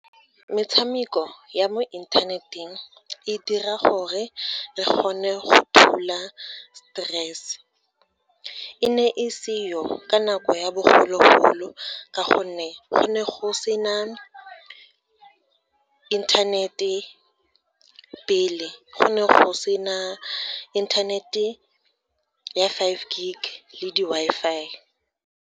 Metshameko ya mo internet-eng e dira gore re kgone go thula stress. E ne e seyo ka nako ya bogologolo ka gonne go ne go sena internet-e pele, go ne go sena internet-e ya five gig le di-Wi-Fi.